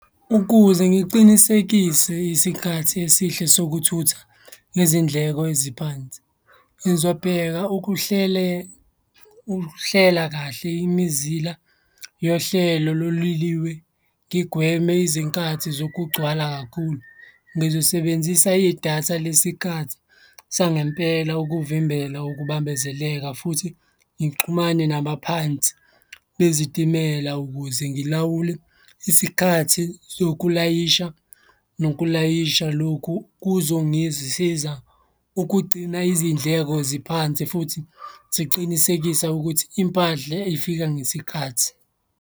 Ukuze ngiqinisekise isikhathi esihle sokuthutha ngezindleko eziphansi, ngizobheka ukuhlela kahle imizila yohlelo lo loliwe, ngigweme izinkathi zokugcwala kakhulu. Ngizosebenzisa idatha lesikathi sangempela ukuvimbela ukubambezeleka futhi ngixhumane nabaphansi bezitimela ukuze ngilawule isikhathi sokulayisha nokulayisha, lokhu kuzongisiza ukugcina izindleko ziphansi futhi ziqinisekisa ukuthi impahla zifika ngesikhathi.